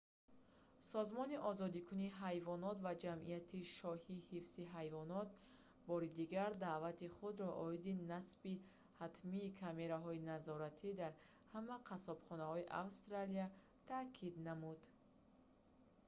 созмони озодкунии ҳайвонот ва ҷамъияти шоҳии ҳифзи ҳайвонот rspca бори дигар даъвати худро оиди насби ҳатмии камераҳои назоратӣ дар ҳама қассобхонаҳои австралия таъкид намуд